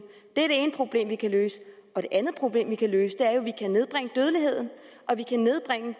det er det ene problem vi kan løse det andet problem vi kan løse er jo at vi kan nedbringe dødeligheden og vi kan nedbringe